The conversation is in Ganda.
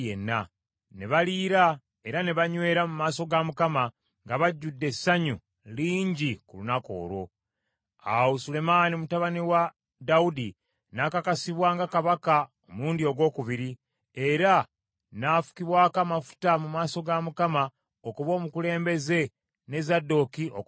Ne baliira era ne banywera mu maaso ga Mukama nga bajjudde essanyu lingi ku lunaku olwo. Awo Sulemaani mutabani wa Dawudi n’akakasibwa nga kabaka omulundi ogwokubiri, era n’afukibwako amafuta mu maaso ga Mukama okuba omukulembeze ne Zadooki okuba kabona.